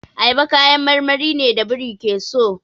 Ayaba kayan marmari ne da biri ke so.